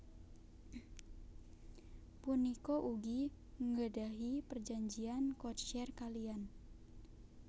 Punika ugi nggdahi perjanjian codeshare kaliyan